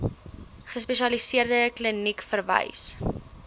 gespesialiseerde kliniek verwys